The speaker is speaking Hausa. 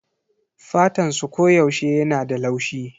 Fatansu koyaushe yana da laushi